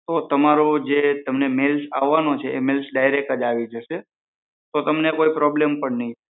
તો તમારો જે મેઈલ આવાનો છે એ તમને ડીરેક્ટ જ આવી જશે તો તમને કોઈ પ્રોબ્લમ પણ નહિ થાય